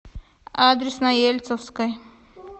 адрес на ельцовской